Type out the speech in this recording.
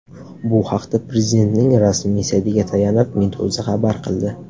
Bu haqda Prezidentning rasmiy saytiga tayanib Meduza xabar qildi .